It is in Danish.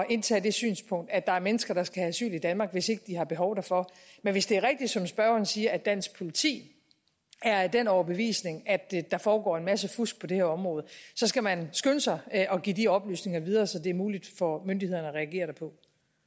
indtage det synspunkt at der er mennesker der skal have asyl i danmark hvis ikke de har behov derfor men hvis det er rigtigt som spørgeren siger at dansk politi er af den overbevisning at der foregår en masse fusk på det her område så skal man skynde sig at at give de oplysninger videre så det er muligt for myndighederne at reagere derpå